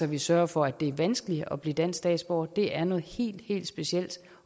vi sørger for at det er vanskeligt at blive dansk statsborger det er noget helt helt specielt